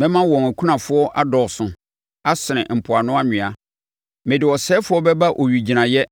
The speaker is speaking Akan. Mɛma wɔn akunafoɔ adɔɔso asene mpoano anwea. Mede ɔsɛefoɔ bɛba owigyinaeɛ